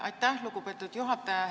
Aitäh, lugupeetud juhataja!